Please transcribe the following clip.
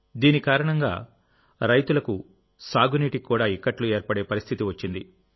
దీని కారణంగా రైతులకు సాగునీటికి కూడా ఇక్కట్లు ఏర్పడే పరిస్థితి వచ్చింది